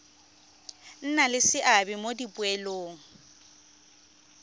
nna le seabe mo dipoelong